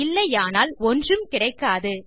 இல்லையானால் ஒன்றும் கிடைக்காது